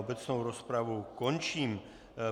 Obecnou rozpravu končím.